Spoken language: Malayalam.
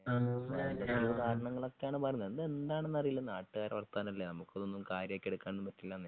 കരണങ്ങളൊക്കെയാണ് പറയുന്നത് എന്താണന്ന് അറിയില്ല നാട്ടുകാരെ വാർത്താനല്ലേ നമുക്കിതൊന്നും കാര്യാക്കി എടുക്കാനും പറ്റില്ലാന്നേ